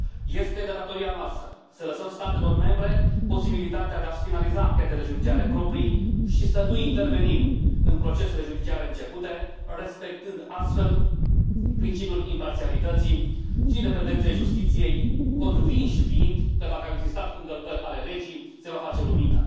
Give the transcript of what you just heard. Este de datoria noastră să lăsăm statelor membre posibilitatea de a și finaliza anchetele judiciare proprii și să nu intervenim în procesele judiciare începute, respectând astfel principiul imparțialității și independenței justiției, convinși fiind că, dacă au existat încălcări ale legii, se va face lumină.